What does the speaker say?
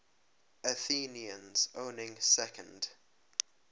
athenians owning second